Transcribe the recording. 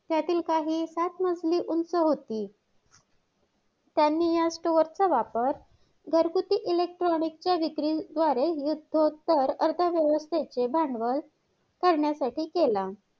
त्यातले महत्वाचे परिणाम म्हणजे की संसदेने सर्वांना समान प्रमाणात मिळत नाहीत.संशोधनाची कमतरता संशोधनामध्ये शैक्षणिक संस्थांनी मिळू शकत नाहीत सर्वांना घर